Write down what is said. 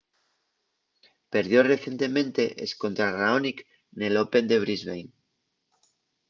perdió recientemente escontra raonic nel open de brisbane